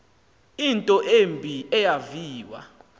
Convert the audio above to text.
into embi eyaviwa